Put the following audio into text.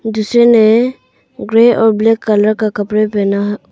जिसने और black colour का कपड़ा पहना--